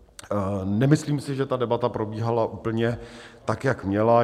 Nemyslím si, že ta debata probíhala úplně tak, jak měla.